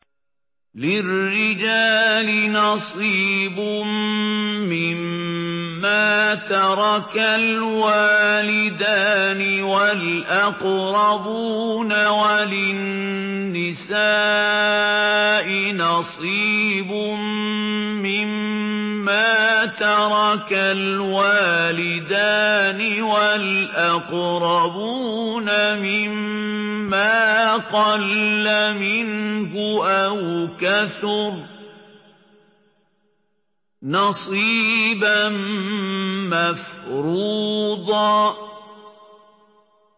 لِّلرِّجَالِ نَصِيبٌ مِّمَّا تَرَكَ الْوَالِدَانِ وَالْأَقْرَبُونَ وَلِلنِّسَاءِ نَصِيبٌ مِّمَّا تَرَكَ الْوَالِدَانِ وَالْأَقْرَبُونَ مِمَّا قَلَّ مِنْهُ أَوْ كَثُرَ ۚ نَصِيبًا مَّفْرُوضًا